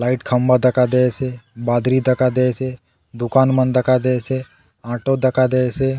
लाइट खम्बा दखा दयेसे बादरी दखा दयेसे दुकान मन दखा दयेसे ऑटो दखा दयेसे।